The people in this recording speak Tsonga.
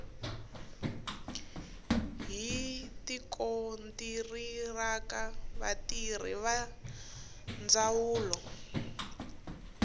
hi tikontiraka vatirhi va ndzawulo